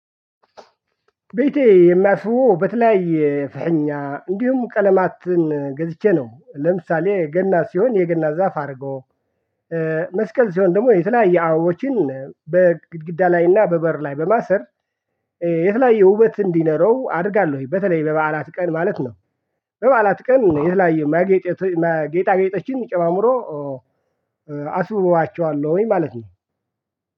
ቤቴ የማስዉበው በተለያየ ፈሀኛ እንዲሁም ቀለማትን ገዝቼ ነው ለምሳሌ ገና ሲሆን የገና ዛፍ አድርጎ መስቀል ሲሆን ደግሞ የተለያየ አበባዎችን በግድግዳ ላይ እና በበር ላይ በማሰር የተለያየ ውበት እንዲኖረው አደርጋለሁ። በተለይ በበዓላት ቀን ማለት ነው። በበዓላት ቀን የተለያየ ማጌጥ ጌጣ ጌጦችን ጨማምሮ አስውባቸዋለሁ ማለት ነው።